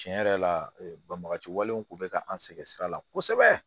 Tiɲɛ yɛrɛ la banbagaci walew kun bɛ ka an sɛgɛn sira la kosɛbɛ